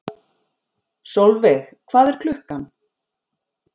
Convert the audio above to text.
Solveig, hvað er klukkan?